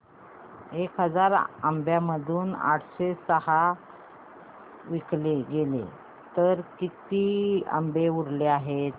एक हजार आंब्यांमधून आठशे सहा विकले गेले तर आता किती आंबे उरले आहेत